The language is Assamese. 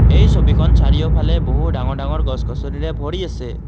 এই ছবিখন চাৰিওফালে বহু ডাঙৰ ডাঙৰ গছ গছনিৰে ভৰি আছে।